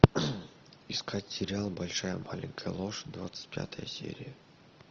искать сериал большая маленькая ложь двадцать пятая серия